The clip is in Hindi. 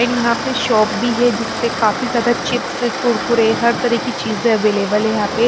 एंड यहां पे भी है जिस पे काफी ज्यादा चिप्स कुरकुरे हर तरह की चीजें है यहां पे।